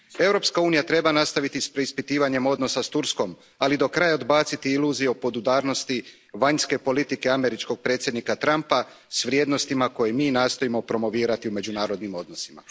Europska unija treba nastaviti s preispitivanjem odnosa s Turskom, ali do kraja odbaciti iluzije o podudarnosti vanjske politike američkog predsjednika Trumpa s vrijednostima koje mi nastojimo promovirati u međunarodnim odnosima.